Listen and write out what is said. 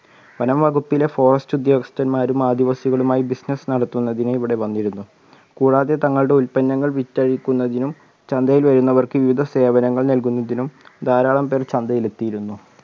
വനം വകുപ്പിലെ forest ഉദ്യോഗസ്ഥന്മാരും ആദിവാസികളുമായി business നടത്തുന്നതിന് ഇവിടെ വന്നിരുന്നു കൂടാതെ തങ്ങളുടെ ഉൽപന്നങ്ങൾ വിറ്റഴിക്കുന്നതിനും ചന്തയിൽ വരുന്നവർക്ക് വിവിധ സേവനങ്ങൾ നൽകുന്നതിനും ധാരാളം പേർ ചന്തയിൽ എത്തിയിരുന്നു